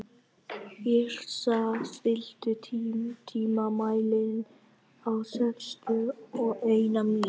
Yrsa, stilltu tímamælinn á sextíu og eina mínútur.